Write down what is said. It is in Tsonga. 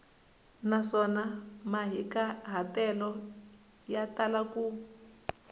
naswona mahikahatelo ya tala ku